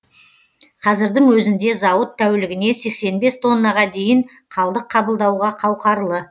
қазірдің өзінде зауыт тәулігіне сексен бес тоннаға дейін қалдық қабылдауға қауқарлы